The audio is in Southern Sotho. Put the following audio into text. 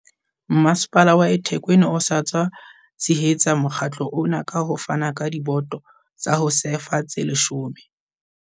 Masepala wa eThekwini o sa tswa tshehetsa mokga tlo ona ka ho fana ka diboto tsa ho sefa tse 10.